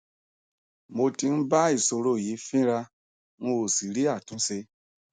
mo tí ń bá ìsòro yìí fínra n ò sì rí àtúnṣe